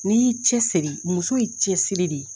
N'i y'i cɛsiri muso ye cɛsiri de ye.